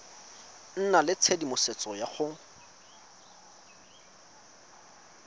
nna le tshedimosetso ya go